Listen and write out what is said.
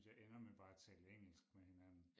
Synes jeg ender med bare at tale engelsk med hinanden